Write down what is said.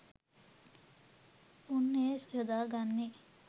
උන් එය යොදා ගන්නේ